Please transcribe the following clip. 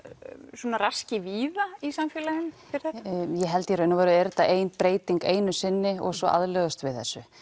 svona raski víða í samfélaginu fyrir þetta ég held í raun og veru þá er þetta ein breyting einu sinni og svo aðlögumst við þessu